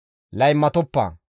«Laymatoppa.